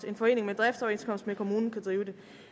en forening med driftsoverenskomst med kommunen kan drive det